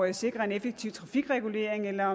at sikre en effektiv trafikregulering eller